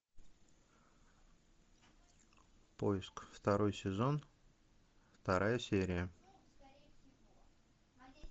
поиск второй сезон вторая серия